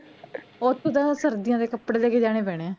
ਓਥੇ ਤਾ ਸਰਦੀਆਂ ਦੇ ਕਪੜੇ ਲੈਕੇ ਜਾਣੇ ਪੈਣੇ ਆ